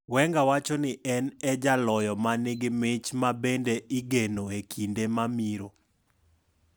Wenger wacho ni en e jaloyo ma nigi mich ma bende igeno e kinde mamiro.